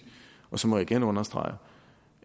og så må jeg igen understrege